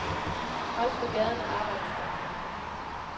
Også på gaderne arbejdes der. punktum